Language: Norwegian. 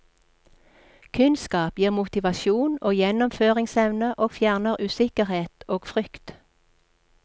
Kunnskap gir motivasjon og gjennomføringsevne og fjerner usikkerhet og frykt.